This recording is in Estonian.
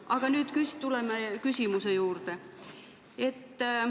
Aga tuleme küsimuse juurde.